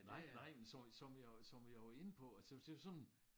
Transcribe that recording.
Nej nej som som jeg som jeg var inde på og til det var sådan